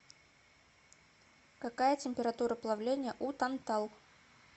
какая температура плавления у тантал